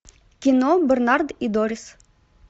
кино бернард и дорис